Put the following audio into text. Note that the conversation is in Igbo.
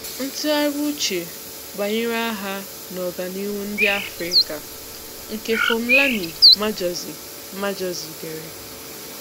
Ntughari uche banyere agha na Ọganihu ndị Afrika nke Phumlani Majozi Majozi dere.